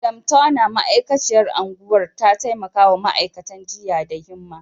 Madam Turner, ma’aikaciyar unguwar, ta taimaka wa ma’aikatan jinya da himma.